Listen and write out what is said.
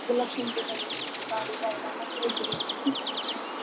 लक्ष्मीपूजन असो गावी जायला मजा येते बघ